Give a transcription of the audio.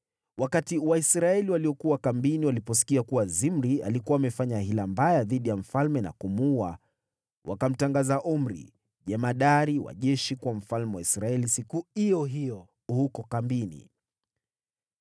Wakati Waisraeli waliokuwa kambini waliposikia kuwa Zimri alikuwa amefanya hila mbaya dhidi ya mfalme na kumuua, wakamtangaza Omri, jemadari wa jeshi, kuwa mfalme wa Israeli siku iyo hiyo huko kambini.